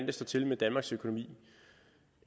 det står til med danmarks økonomi